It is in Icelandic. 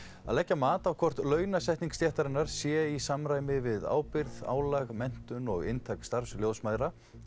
að leggja mat á hvort launasetning stéttarinnar sé í samræmi við ábyrgð álag menntun og inntak starfs ljósmæðra